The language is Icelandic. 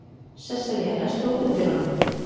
Sesselía, læstu útidyrunum.